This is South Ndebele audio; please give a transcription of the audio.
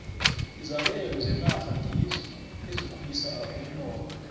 izabelo zenarha ngizo ezikhulisa umnotho